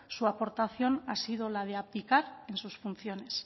su aportación ha sido la de abdicar en sus funciones